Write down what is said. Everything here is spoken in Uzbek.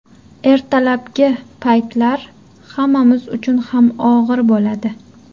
Ertalabki paytlar hammamiz uchun ham og‘ir bo‘ladi.